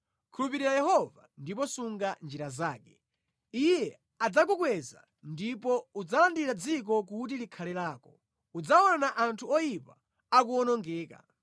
Khulupirira Yehova, ndipo sunga njira yake; Iye adzakukweza ndipo udzalandira dziko kuti likhale lako; udzaona anthu oyipa akuwonongeka.